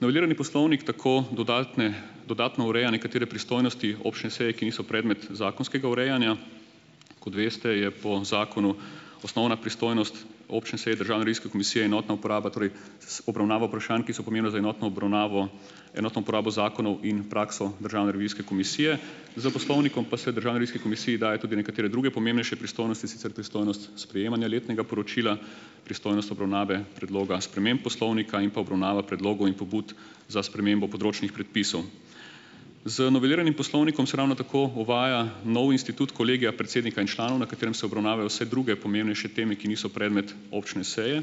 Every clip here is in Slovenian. Novelirani poslovnik tako dodatne dodatno ureja nekatere pristojnosti občne seje, ki niso predmet zakonskega urejanja. Kot veste, je po zakonu osnovna pristojnost občne seje Državne revizijske komisije enotna uporaba, torej, obravnava vprašanj, ki so pomembna za enotno obravnavo enotno uporabo zakonov in prakso državne revizijske komisije. S poslovnikom pa se Državni revizijski komisiji daje tudi nekatere druge pomembnejše pristojnosti, in sicer pristojnost sprejemanja letnega poročila, pristojnost obravnave predloga sprememb poslovnika in pa obravnava predlogov in pobud za spremembo področnih predpisov. Z noveliranim poslovnikom se ravno tako uvaja nov institut kolegija predsednika in članov, na katerem se obravnavajo vse druge pomembnejše teme, ki niso predmet občne seje.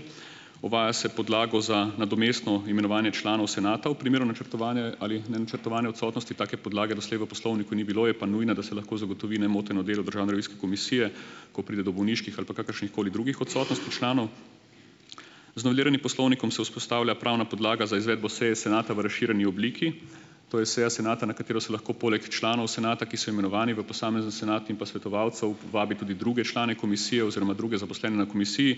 Uvaja se podlago za nadomestno imenovanje članov senatov v primeru načrtovane ali nenačrtovane odsotnosti. Take podlage doslej v poslovniku ni bilo, je pa nujna, da se lahko zagotovi nemoteno delo državne revizijske komisije, ko pride do bolniških ali pa kakršnihkoli drugih odsotnosti članov. Z noveliranim poslovnikom se vzpostavlja pravna podlaga za izvedbo seje senata v razširjeni obliki. To je seja senata, na katero se lahko poleg članov senata, ki so imenovani v posamezni senat in pa svetovalcev, vabi tudi druge člane komisije oziroma druge zaposlene na komisiji,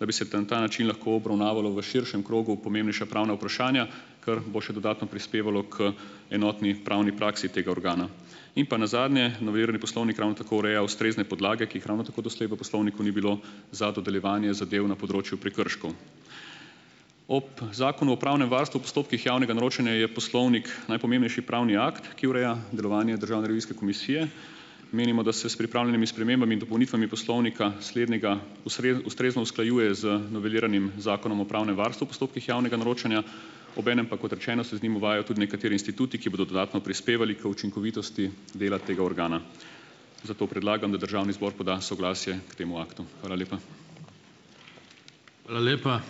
da bi se tam ta način lahko obravnavalo v širšem krogu pomembnejša pravna vprašanja, kar bo še dodatno prispevalo k enotni pravni praksi tega organa. In pa nazadnje. Novelirani poslovnik ravno tako ureja ustrezne podlage, ki jih ravno tako doslej v poslovniku ni bilo, za dodeljevanje zadev na področju prekrškov. Ob Zakonu o pravnem varstvu v postopkih javnega naročanja je poslovnik najpomembnejši pravni akt, ki ureja delovanje Državne revizijske komisije. Menimo, da se s pripravljenimi spremembami in dopolnitvami poslovnika slednjega ustrezno usklajuje z noveliranim zakonom o pravnem varstvu v postopkih javnega naročanja, obenem pa kot rečeno, se z njim uvajajo tudi nekateri instituti, ki bodo dodatno prispevali k učinkovitosti dela tega organa. Zato predlagam, da državni zbor poda soglasje k temu aktu. Hvala lepa.